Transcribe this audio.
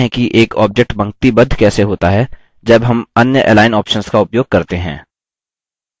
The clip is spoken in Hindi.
अब देखते हैं कि एक object पंक्तिबद्ध कैसे होता है जब हम अन्य align options का उपयोग करते हैं